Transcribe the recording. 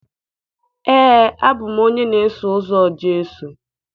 Ee, abụ m onye na-eso ụzọ Jesu